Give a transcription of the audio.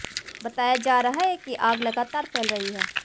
बताया जा रहा है कि आग लगातार फैल रही है